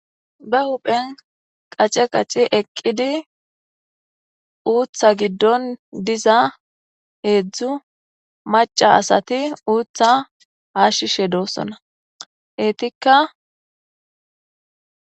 ba uphen qace qaci eqqidi uutha giddon diza heedzdzu maca asati uutha hashshishe doossona heetikka